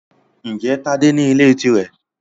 Ǹjẹ́ Tádé ní ilé tirẹ?